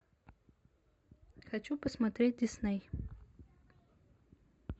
хочу посмотреть дисней